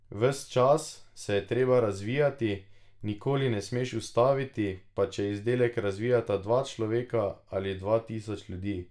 Ves čas se je treba razvijati, nikoli se ne smeš ustaviti, pa če izdelek razvijata dva človeka ali dva tisoč ljudi.